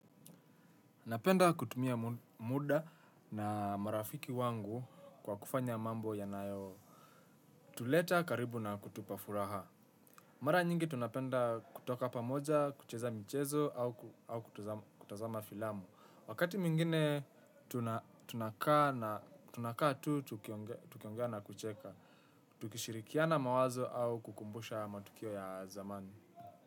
Napenda kutumia muda na marafiki wangu kwa kufanya mambo yanayo tuleta karibu na kutupa furaha mara nyingi tunapenda kutoka pamoja, kucheza michezo au kutazama filamu wakati mwingine tuna tunakaa tu, tukiongea na kucheka. Tukishirikiana mawazo au kukumbusha matukio ya zamani.